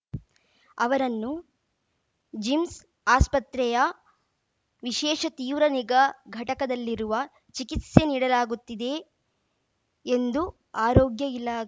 ಅವರನ್ನು ಜಿಮ್ಸ್‌ ಆಸ್ಪತ್ರೆಯ ವಿಶೇಷ ತೀವ್ರ ನಿಗಾ ಘಟಕದಲ್ಲಿರುವ ಚಿಕಿತ್ಸೆ ನೀಡಲಾಗುತ್ತಿದೆ ಎಂದು ಆರೋಗ್ಯ ಇಲಾ